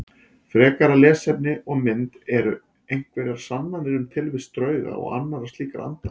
Frekara lesefni og mynd Eru einhverjar sannanir um tilvist drauga og annarra slíkra anda?